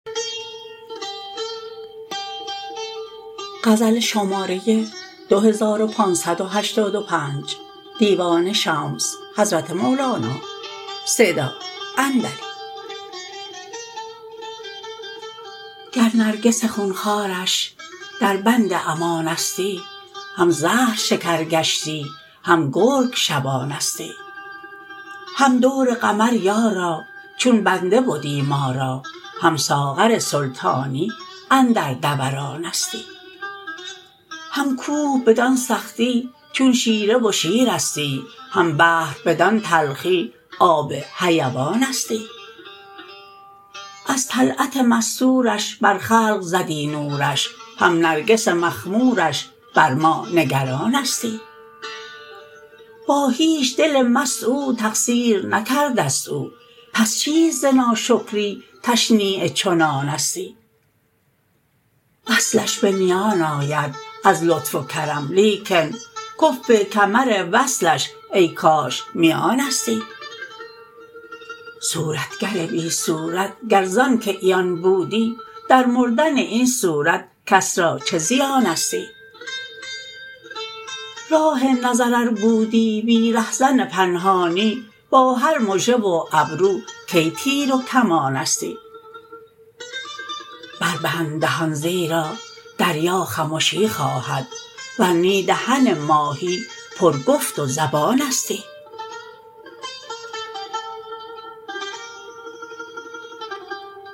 گر نرگس خون خوارش دربند امانستی هم زهر شکر گشتی هم گرگ شبانستی هم دور قمر یارا چون بنده بدی ما را هم ساغر سلطانی اندر دورانستی هم کوه بدان سختی چون شیره و شیرستی هم بحر بدان تلخی آب حیوانستی از طلعت مستورش بر خلق زدی نورش هم نرگس مخمورش بر ما نگرانستی با هیچ دل مست او تقصیر نکرده ست او پس چیست ز ناشکری تشنیع چنانستی وصلش به میان آید از لطف و کرم لیکن کفو کمر وصلش ای کاش میانستی صورتگر بی صورت گر ز آنک عیان بودی در مردن این صورت کس را چه زیانستی راه نظر ار بودی بی رهزن پنهانی با هر مژه و ابرو کی تیر و کمانستی بربند دهان زیرا دریا خمشی خواهد ور نی دهن ماهی پرگفت و زبانستی